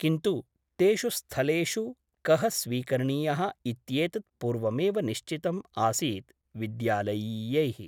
किन्तु तेषु स्थलेषु कः स्वीकरणीयः इत्येतत् पूर्वमेव निश्चितम् आसीत् विद्यालयीयैः ।